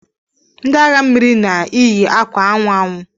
Ndi aha mmiri na iyi akwa anwụ anwụ.